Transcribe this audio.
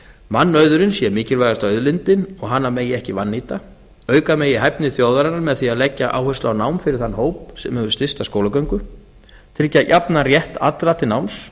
mannauðurinn sé mikilvægasta auðlindin og hana megi ekki vannýta auka megi hæfni þjóðarinnar með því að leggja áherslu á nám fyrir þann hóp sem hefur stysta skólagöngu tryggja jafnan rétt allra til náms